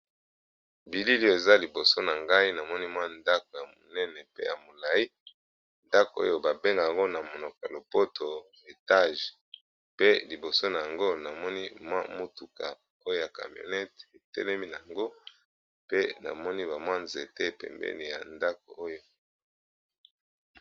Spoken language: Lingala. Bilili oyo eza liboso na ngai namoni mwa ndako ya monene pe ya molai ndako oyo ba bengaka yango na monokoa lopoto etage pe liboso na yango namoni mwa motuka oyo ya camionete etelemi na yango pe namoni ba mwa nzete pembeni ya ndako oyo.